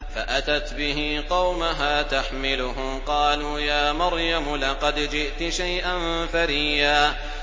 فَأَتَتْ بِهِ قَوْمَهَا تَحْمِلُهُ ۖ قَالُوا يَا مَرْيَمُ لَقَدْ جِئْتِ شَيْئًا فَرِيًّا